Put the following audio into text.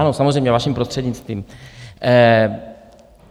Ano, samozřejmě, vaším prostřednictvím.